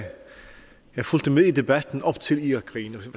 jeg fulgte med i debatten op til irakkrigen